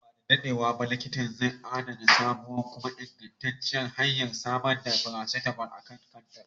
Nan ba da dadewa ba likitan zai adana sabon kuma ingantacciyar hanyar samar da paracetamol a kan kantar.